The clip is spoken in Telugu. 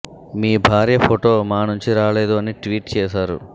మీ భార్య ఫోటో మా నుంచి రాలే దు అని ట్వీట్ చేశారు